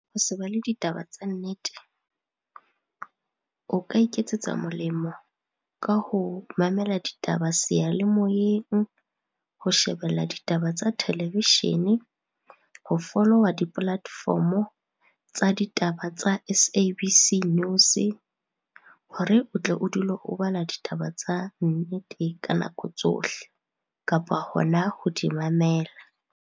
Ho se bale ditaba tsa nnete. O ka iketsetsa molemo ka ho mamela ditaba seyalemoyeng, ho shebella ditaba tsa televishene, ho follower di-platform-o tsa ditaba tsa S_A_B_C News hore o tle o dule o bala ditaba tsa nnete ka nako tsohle, kapa hona ho di mamela.